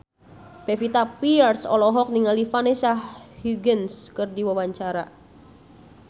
Pevita Pearce olohok ningali Vanessa Hudgens keur diwawancara